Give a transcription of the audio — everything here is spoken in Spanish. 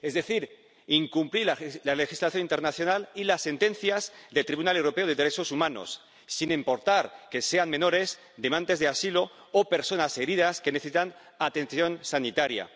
Es decir, incumplir la legislación internacional y las sentencias del Tribunal Europeo de Derechos Humanos, sin importar que sean menores, demandantes de asilo o personas heridas que necesitan atención sanitaria.